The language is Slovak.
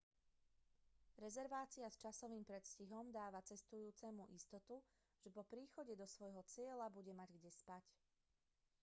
rezervácia s časovým predstihom dáva cestujúcemu istotu že po príchode svojho do cieľa bude mať kde spať